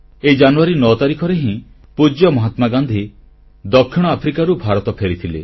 ଏହି ଜାନୁଆରୀ 9 ତାରିଖରେ ହିଁ ପୂଜ୍ୟ ମହାତ୍ମାଗାନ୍ଧୀ ଦକ୍ଷିଣ ଆଫ୍ରିକାରୁ ଭାରତ ଫେରିଥିଲେ